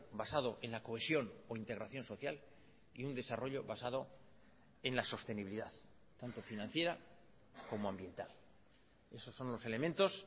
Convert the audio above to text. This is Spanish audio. basado en la cohesión o integración social y un desarrollo basado en la sostenibilidad tanto financiera como ambiental esos son los elementos